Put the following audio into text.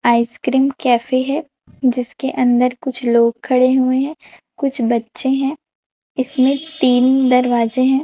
Ice cream cafe हैं जिसके अंदर कुछ लोग खड़े हुए हैं कुछ बच्चे हैं इसमें तीन दरवाजे हैं।